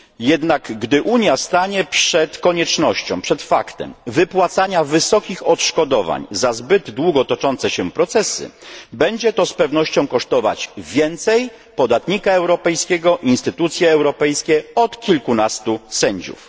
Jednak gdy Unia stanie przed faktem wypłacania wysokich odszkodowań za zbyt długo toczące się procesy, będzie to z pewnością kosztować więcej podatnika europejskiego i instytucje europejskie od kilkunastu sędziów.